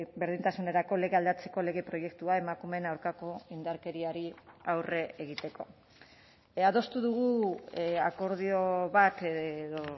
berdintasunerako lege aldatzeko lege proiektua emakumeen aurkako indarkeriari aurre egiteko adostu dugu akordio bat edo